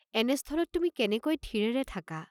এনে স্থলত তুমি কেনেকৈ থিৰেৰে থাকাঁ?